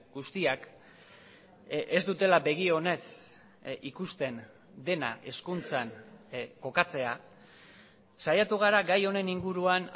guztiak ez dutela begi onez ikusten dena hezkuntzan kokatzea saiatu gara gai honen inguruan